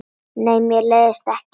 Nei, mér leiðist ekki.